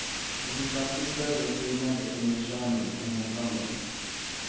Det finns alltid större skillnader inom könen än mellan dem.